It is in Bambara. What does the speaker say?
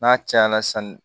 N'a caya la sanni